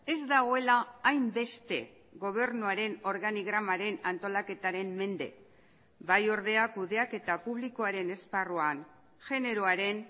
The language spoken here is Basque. ez dagoela hainbeste gobernuaren organigramaren antolaketaren mende bai ordea kudeaketa publikoaren esparruan generoaren